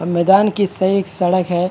और मैदान की से एक सड़क है।